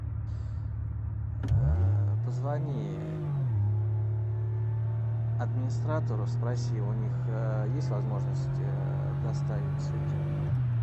позвони администратору спроси у них есть возможность доставить цветы